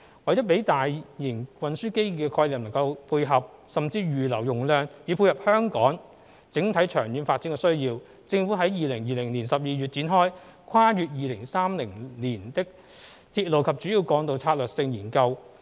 為了讓大型運輸基建的規劃能配合、甚或預留容量以滿足香港整體長遠發展的需要，政府於2020年12月展開《跨越2030年的鐵路及主要幹道策略性研究》。